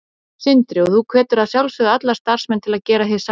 Sindri: Og þú hvetur að sjálfsögðu alla starfsmenn til að gera hið sama?